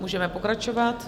Můžeme pokračovat.